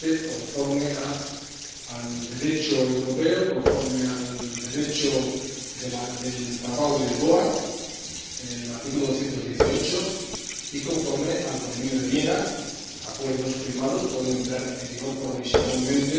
Conforme al Derecho europeo, conforme al Derecho del Tratado de Lisboa, en su artículo 218, y conforme al Convenio de Viena, los acuerdos firmados pueden entrar en vigor provisionalmente.